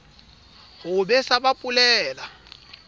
ho o besa ba polela